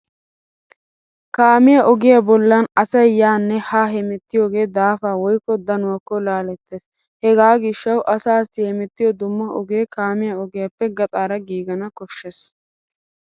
Kaamiyaa ogiya bollan asay yaanne haa hemettiyoogee daafaa woykko danuwaakko laalettees. Hegaa gishshawu asaassi hemettiyo dumma ogee kaamiya ogiyaappe gaxaara giigana koshshees